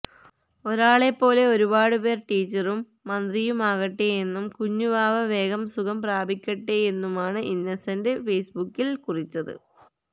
ഓളെ പോലെ ഒരുപാട്പേര് ടീച്ചറും മന്ത്രിയുമാകട്ടെ എന്നും കുഞ്ഞുവാവ വേഗം സുഖം പ്രാപിക്കട്ടെയെന്നുമാണ് ഇന്നസെന്റ് ഫേസ്ബുക്കില് കുറിച്ചത്